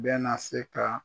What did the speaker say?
Bɛ na se ka